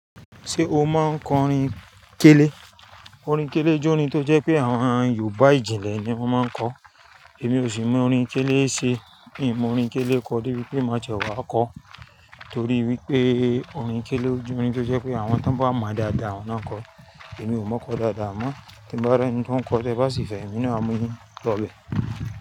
Ṣé o máa ń kọ orin kélé? Orin kélé jẹ́ orin tó jẹ́ pé àwọn Yorùbá ìjìnlẹ̀ ni wọ́n máa ń kọ. Èmi ò sì mọ orin kélé ṣe. Hin mọ orin kélé kọ débi pé má ti ẹ wà á kọ. Torí wípé orin kélé o jẹ́ orin tó jẹ́ pé àwọn ti won bá mọ̀ dáadáa, awon naa n kọ. Èmi ò mọ kọ dáadáa amọ́. Tí n bá rí ẹni tí ó ń kọ tẹ bá sì fẹ́, èmi náà á mú yin lọ bẹ̀.